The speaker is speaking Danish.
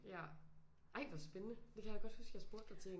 Ja ej hvor spændende det kan jeg godt huske jeg spurgte dig til